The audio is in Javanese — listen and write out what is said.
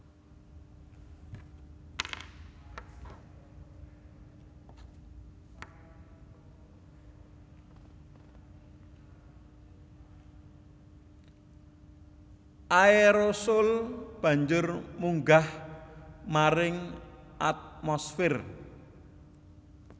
Aérosol banjur munggah maring atmosfér